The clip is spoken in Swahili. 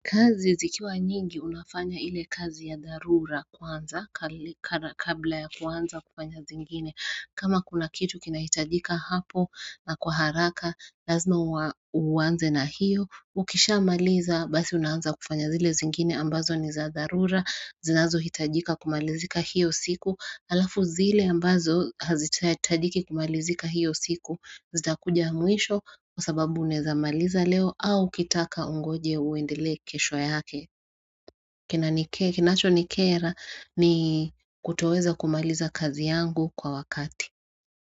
Kazi zikiwa nyingi unafanya ile kazi ya dharura kwanza kabla ya kwanza kufanya zingine kama kuna kitu kinahitajika hapo na kwa haraka lazima uanze na hiyo ukishamaliza basi unaanza kufanya zile zingine ambazo ni za dharura zinazohitajika kumalizika hiyo siku halafu zile ambazo hazihitajiki kumalizika hiyo siku Zitakuja mwisho kwa sababu unawezamaliza leo au ukitaka ungoje uendelee kesho yake. Kinacho nikera ni kutoweza kumaliza kazi yangu kwa wakati.